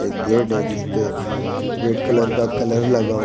एक गेट है जिसपे रेड कलर का कलर लगा हुआ--